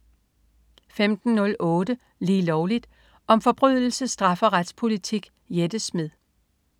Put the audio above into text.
15.08 Lige Lovligt. Om forbrydelse, straf og retspolitik. Jette Smed